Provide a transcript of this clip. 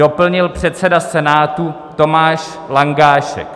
Doplnil předseda Senátu Tomáš Langášek.